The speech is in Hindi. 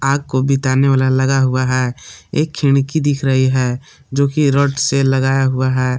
आग को बुताने वाला लगा हुआ हैं एक खिड़की दिख रही हैं जो की रॉड से लगाया हुआ हैं।